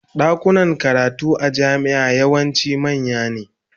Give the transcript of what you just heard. Dakunan karatu a jami'a yawanci manya ne.